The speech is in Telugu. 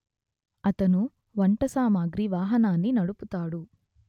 అతను వంట సామగ్రి వాహనాన్ని నడుపుతాడు